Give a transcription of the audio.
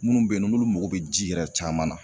Munnu be yen nɔ n'olu mago be ji yɛrɛ caman na